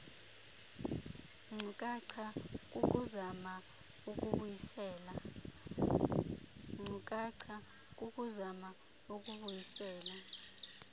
nkcukacha kukuzama ukubuyisela